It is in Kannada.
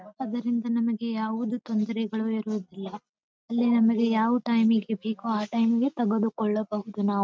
ಅದರಿಂದ ನಮಗೆ ಯಾವುದು ತೊಂದರೆಗಳು ಇರುವುದಿಲ್ಲ ಅಲ್ಲಿ ನಮಗೆ ಯಾವ ಟೈಮ್ ಗೆ ಬೇಕು ಆಹ್ಹ್ ಟೈಮ್ ಗೆ ತೆಗೆದುಕೊಳ್ಳಬಹುದು ನಾವು.